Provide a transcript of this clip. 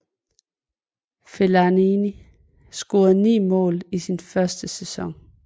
Fellaini scorede 9 mål i sin første sæson